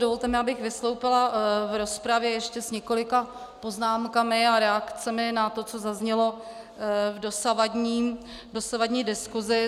Dovolte mi, abych vystoupila v rozpravě ještě s několika poznámkami a reakcemi na to, co zaznělo v dosavadní diskusi.